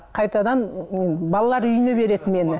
қайтадан балалар үйіне береді мені